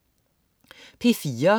P4: